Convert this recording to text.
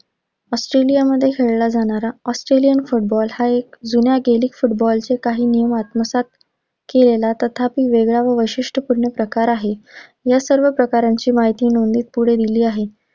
ऑस्ट्रेलियामध्ये खेळाला जाणारा ऑस्ट्रेलियन फुटबॉल हा एक जुन्या gaelic फुटबॉलचे काही नियम आत्मसात केलेला तथापि वेगळा आणि वैशिष्ट्यपूर्ण प्रकार आहे. या सर्व प्रकारांची माहिती नोंदणी पुढे दिलेली आहे.